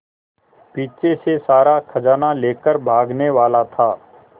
पीछे से सारा खजाना लेकर भागने वाला था